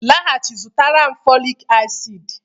laghachi azụ zụtara m folic acid